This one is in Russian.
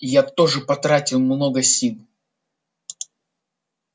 я тоже потратил много сил